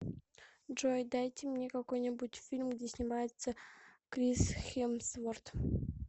джой дайте мне какой нибудь фильм где снимается крис хемсворт